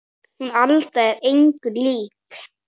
Hún Alda er engu lík